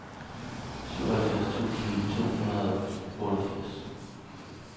syvoghalvfjerds tusind to hundrede og otteogfirs